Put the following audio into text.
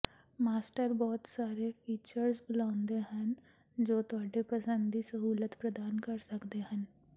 master ਬਹੁਤ ਸਾਰੇ features ਬੁਲਾਉਂਦੇ ਹਨ ਜੋ ਤੁਹਾਡੀ ਪਸੰਦ ਦੀ ਸਹੂਲਤ ਪ੍ਰਦਾਨ ਕਰ ਸਕਦੇ ਹਨ